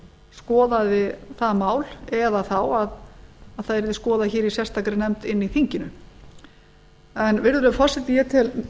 skoðaði það mál eða þá að það yrði skoðað í sérstakri nefnd inni í þinginu virðulegi forseti ég tel